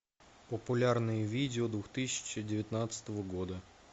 популярные видео две тысячи девятнадцатого года